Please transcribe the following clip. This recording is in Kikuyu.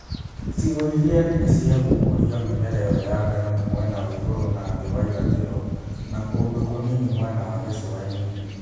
Icigo iria nene cia gu͂ku͂ria mi͂mera i͂yo ya ngano ni mwena wa igu͂ru͂ na thi͂ wa irathi͂ro, na ku͂ndu͂ ku͂nini mwena wa gi͂cu͂a-ini͂.